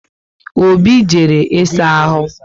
Obi jere ị saa ahụ